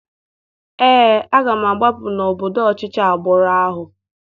Ee, aga m agbapụ n'obodo ọchịchị agbụrụ ahụ.